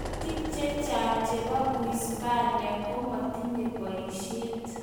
Barnotik chechang chebo uhispania komotinye boisiet